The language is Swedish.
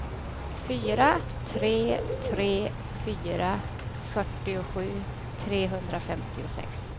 fyra tre tre fyra fyrtiosju trehundrafemtiosex